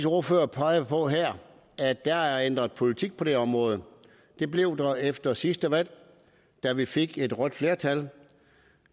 ordfører peger på her at der er ændret politik på det her område det blev der efter sidste valg da vi fik et rødt flertal